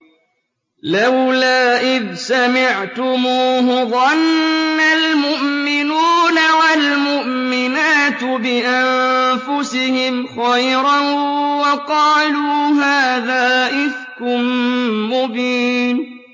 لَّوْلَا إِذْ سَمِعْتُمُوهُ ظَنَّ الْمُؤْمِنُونَ وَالْمُؤْمِنَاتُ بِأَنفُسِهِمْ خَيْرًا وَقَالُوا هَٰذَا إِفْكٌ مُّبِينٌ